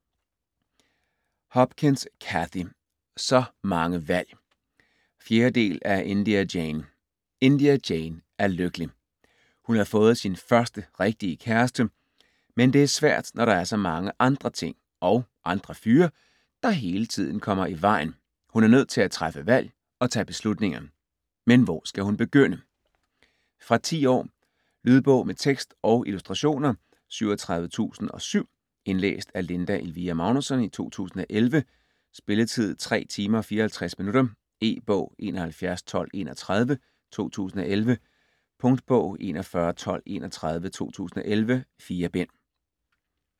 Hopkins, Cathy: Så mange valg 4. del af India Jane. India Jane er lykkelig. Hun har fået sin første rigtige kæreste. Men det er svært når der er så mange andre ting (og andre fyre) der hele tiden kommer i vejen. Hun er nødt til at træffe valg og tage beslutninger. Men hvor skal hun begynde? Fra 10 år. Lydbog med tekst og illustrationer 37007 Indlæst af Linda Elvira Magnussen, 2011. Spilletid: 3 timer, 54 minutter. E-bog 711231 2011. Punktbog 411231 2011. 4 bind.